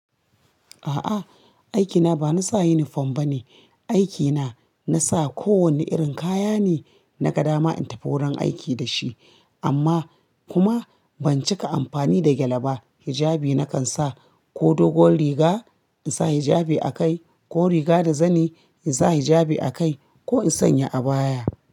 A'a aikina bana sa uniform bane. Aikina nasa ko wanne irin kaya ne na gadama in tafi wurin aiki da shi amma kuma ban cika amfani da gyale ba. Hijabi nakan sa ko dogon riga in sa hijabi a kai ko riga da zani in sa hijabi a kai ko in sanya abaya.